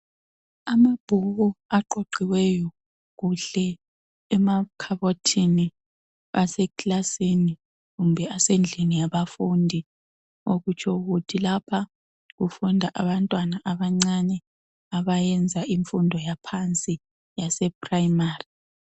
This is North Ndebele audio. Amabhuku aqoqiweyo kuhle emakhabothini asemakilasini kumbe asendlini yabafundi okutsho ukuthi lapha kufunda abantwana abancane abayenza ifundo yaphansi yase primary.